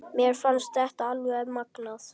Mér fannst þetta alveg magnað.